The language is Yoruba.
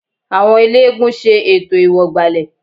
Àwọn eléégún ṣe ètò ìwọ̀gbàlẹ̀